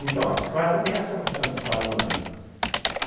Então, a bicicleta tem essa questão de escala humana.